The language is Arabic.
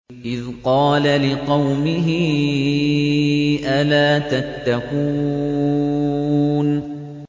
إِذْ قَالَ لِقَوْمِهِ أَلَا تَتَّقُونَ